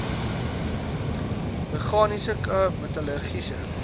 meganiese k metallurgiese